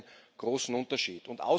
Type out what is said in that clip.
Da gibt es einen großen Unterschied.